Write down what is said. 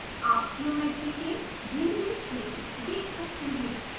आप ज्योमेट्री के भिन्नभिन्न क्षेत्र देख सकते हैं